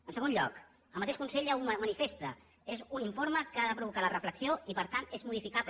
en segon lloc el mateix consell ja ho manifesta és un informe que ha de provocar la reflexió i per tant és modificable